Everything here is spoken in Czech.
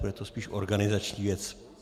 Bude to spíš organizační věc.